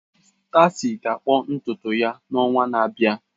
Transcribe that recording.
Stacy ga-akpụ ntutu ya n'ọnwa na-abịa.